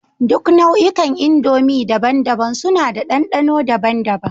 Duk nau'ikan indomie daban-daban suna da dandano daban-daban